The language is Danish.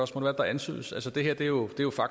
synes jeg om det